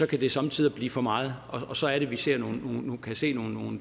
kan det somme tider blive for meget og så er det vi kan se nogle